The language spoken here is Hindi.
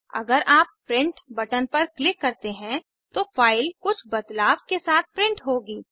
अगर आप प्रिंट बटन पर क्लिक करते हैं तो फाइल कुछ बदलाव के साथ प्रिंट होगी